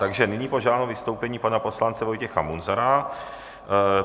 Takže nyní požádám o vystoupení pana poslance Vojtěcha Munzara.